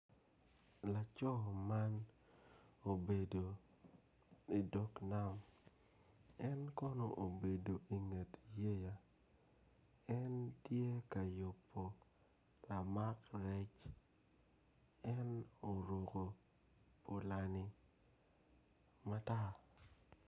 Laco man obedo idog nam en kono obedo inget bye en tye ka yupu lamak rec en oruko olangi matar